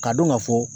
K'a dɔn ka fɔ